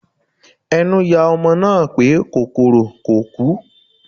Ẹnu yà ọmọ náà pé kòkòrò kò kú